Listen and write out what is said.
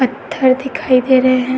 पत्थर दिखाई दे रहे हैं।